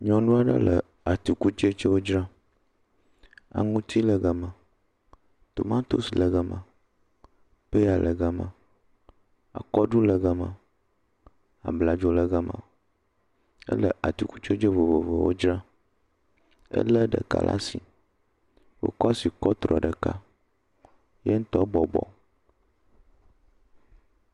Nyɔnu aɖe le atikutsetse aɖewo dzram. Aŋuti le gama, tomatosi le gama, peya le gama akɔɖu le gama, abladzo le gama. Ele atikutsetse vovovowo dzram. Elé ɖeka laa si, ekɔ asi kɔtrɔ ɖeka. Ye ŋutɔ bɔbɔ.